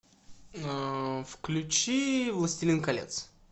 включи властелин колец